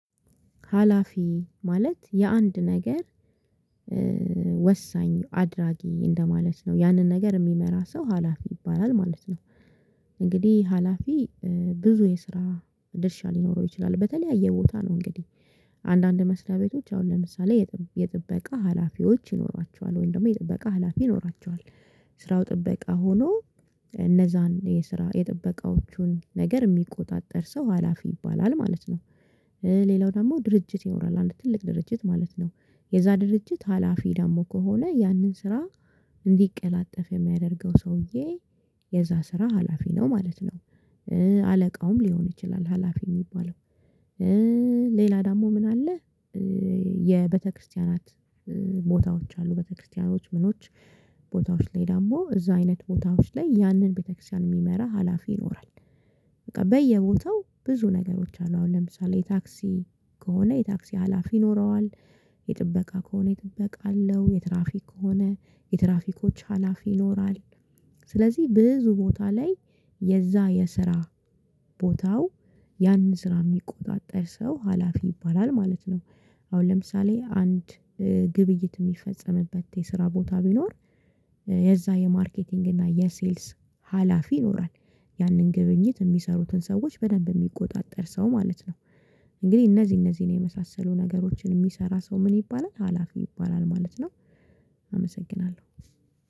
ሀላፊ ማለት የአንድ ነገር ወሳኝ አድራጊ እንደማለት ነው ያንን ነገር የሚመራ ሰው ሀላፊ ይባላል ማለት ነው። እንግዲህ ሀላፊ ብዙ የስራ ድርሻ ሊኖረው ይችላል በተለያየ ቦታ ነው እንግዲህ። አንዳንድ መስሪያ ቤቶች አሁን ለምሳሌ የጥበቃ ሀላፊዎች ይኖሯቸዋል ወይም ደግሞ የጥበቃ ሀላፊ ይኖራቸዋል። ስራው ጥበቃ ሆኖ እነዛን የስራ የጥበቃዎቹን ነገር የሚቆጣጠር ሰው ሀላፊ ይባላል ማለት ነው። ሌላው ደግሞ ድርጅት ይኖራል አንድ ትልቅ ድርጅት ማለት ነው። የዛ ድርጅት ሀላፊ ደግሞ ከሆነ ያንን ስራ እንዲቀላጠፍ የሚያደርገው ሰውዬ የዛ ስራ ሀላፊ ነው ማለት ነው። አለቃውም ሊሆን ይችላል ሀላፊ የሚባለው። ሌላ ደግሞ ምን አለ? የቤተክርስቲያናት ቦታዎች አሉ ቤተክርስቲያኖች ምኖች ቦታዎች ላይ ደግሞ እዛ አይነት ቦታዎች ላይ ያንን ቤተክርስቲያን የሚመራ ሀላፊ ይኖራል። በቃ በየቦታው ብዙ ነገሮች አሉ አሁን ለምሳሌ የታክሲ ከሆነ የታክሲ ሀላፊ ይኖረዋል። የጥበቃ ከሆነ የጥበቃ አለው የትራፊክ ከሆነ የትራፊኮች ሀላፊ ይኖራል። ስለዚህ ብዙ ቦታ ላይ የዛ የስራ ቦታው ያንን ስራ የሚቆጣጠር ሰው ሀላፊ ይባላል ማለት ነው። አሁን ለምሳሌ አንድ ግብይት የሚፈጸምበት የስራ ቦታ ቢኖር የዛ የማርኬቲንግ እና የሴልስ ሀላፊ ይኖራል። ያንን ግብይት የሚሰሩትን ሰዎች በደንብ የሚቆጣጠር ሰው ማለት ነው። እንግዲህ እነዚህ እነዚህን የመሳሰሉ ነገሮችን የሚሰራ ሰው ምን ይባላል ሀላፊ ይባላል ማለት ነው። አመሰግናለሁ